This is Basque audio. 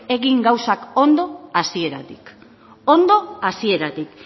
egin gauzak ondo hasieratik ondo hasieratik